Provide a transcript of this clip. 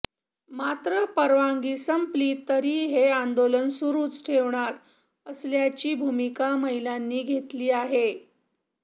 मात्र परवानगी संपली तरी हे आंदोलन सुरूच ठेवणार असल्याची भूमिका महिलांनी घेतली आहे